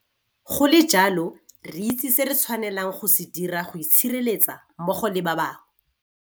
Go le jalo, re itse se re tshwanelang go se dira go itshireletsa mmogo le ba bangwe.